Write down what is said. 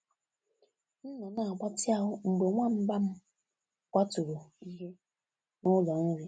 M nọ na agbatị ahụ mgbe nwamba m kwaturu ihe na ụlọ nri